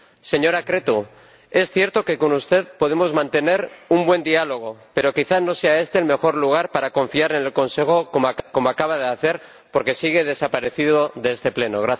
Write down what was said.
Señora Crețu, es cierto que con usted podemos mantener un buen diálogo, pero quizás no sea este el mejor lugar para confiar en el Consejo ―como acaba de hacer―, porque sigue desaparecido de este Pleno.